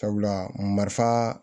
Sabula marifa